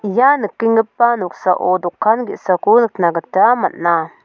ia nikenggipa noksao dokan ge·sako nikna gita man·a.